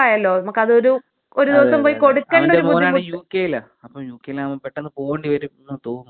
*Not ക്ലിയർ* അവന്റെ മോനാണെങ്കി യൂ കെ യിലാ അപ്പൊ യൂ കെ യിലാവുമ്പോ പെട്ടെന്ന് പോവേണ്ടി വരുമെന്ന് തോന്നുന്നു. അങ്ങെനെയാണെങ്കി എളുപ്പമായിരിക്കും.